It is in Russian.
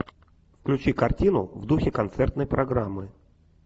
включи картину в духе концертной программы